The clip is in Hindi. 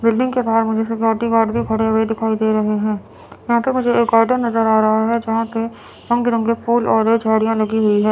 बिल्डिंग के बाहर मुझे सिक्योरिटी गार्ड भी खड़े हुए दिखाई दे रहे हैं यहां पे मुझे एक गार्डन नजर आ रहा है जहां पे रंग बिरंगे फूल और ये झाड़ियां लगी हुई है।